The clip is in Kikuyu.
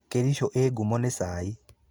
Kericho ĩĩ ngumo nĩ cai.